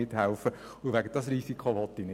Dieses Risiko gehe ich nicht ein.